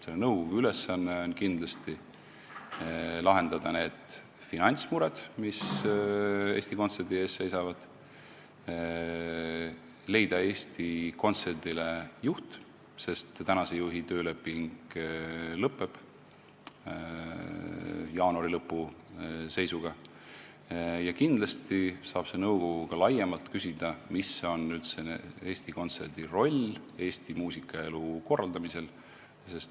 Selle nõukogu ülesanne on kindlasti lahendada need finantsmured, mis Eesti Kontserdi ees seisavad, tuleb leida Eesti Kontserdile juht, sest tänase juhi tööleping lõpeb jaanuari lõpu seisuga, ja kindlasti saab see nõukogu ka laiemalt küsida, mis on üldse Eesti Kontserdi roll Eesti muusikaelu korraldamisel.